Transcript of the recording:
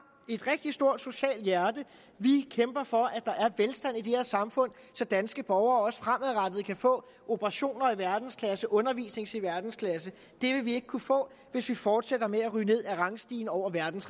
et rigtig stort socialt hjerte vi kæmper for at der er velstand i det her samfund så danske borgere også fremadrettet kan få operationer i verdensklasse og undervisning i verdensklasse det vil vi ikke kunne få hvis vi fortsætter ned ad rangstigen over verdens